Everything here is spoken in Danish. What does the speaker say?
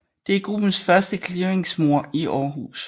Det er gruppens første clearingmord i Aarhus